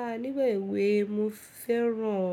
A nígba ẹ̀ we mi fẹ́ràn